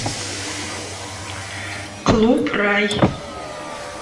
клуб рай